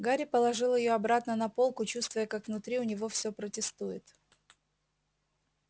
гарри положил её обратно на полку чувствуя как внутри у него все протестует